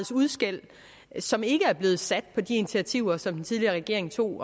som ikke er blevet sat på de initiativer som den tidligere regering tog